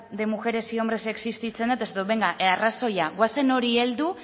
de mujeres y hombres existitzen da eta esaten dut benga arrazoia goazen horri heldu